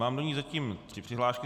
Mám do ní zatím tři přihlášky.